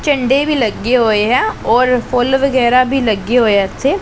ਝੰਡੇ ਵੀ ਲੱਗੇ ਹੋਏਆਂ ਔਰ ਫੁੱਲ ਵਗੈਰਾ ਵੀ ਲੱਗੇ ਹੋਏਆ ਇੱਥੇ।